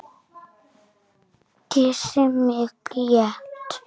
Kyssir mig létt.